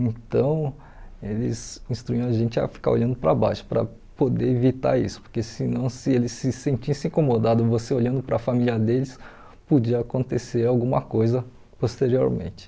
Então, eles instruíam a gente a ficar olhando para baixo, para poder evitar isso, porque senão, se eles se sentissem incomodados, você olhando para a família deles, podia acontecer alguma coisa posteriormente.